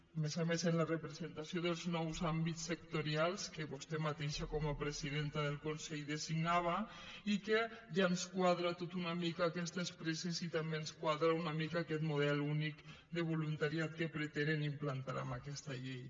a més a més en la representació dels nous àmbits sectorials que vostè mateixa com a presidenta del consell designava i que ja ens quadra tot una mica aquestes presses i també ens quadra una mica aquest model únic de voluntariat que pretenen implantar amb aquesta llei